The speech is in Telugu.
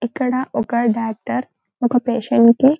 ఇక్కడ ఒక డాక్టర్ ఒక పేషెంట్ కి --